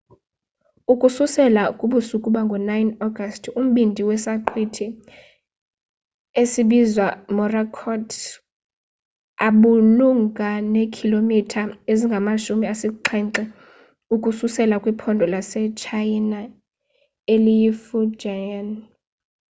ukususela kubusuku bango-9 agasti umbindi wesaqhwithi esinbizwa morakot ubumalunga neekhilomitha ezingamashumi asixhenxe ukususela kwiphondo lasetshayina eliyifujian